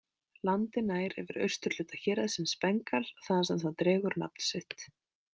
Landið nær yfir austurhluta héraðsins Bengal þaðan sem það dregur nafn sitt.